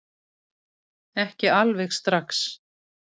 Ekki alveg strax